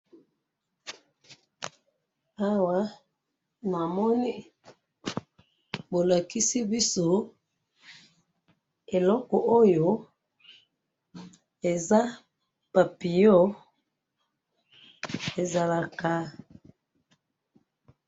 awa namoni bolakisi biso eloko oyo eza papillon ezalaka